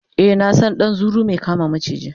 e na San ɗan zuru Mai kama maciji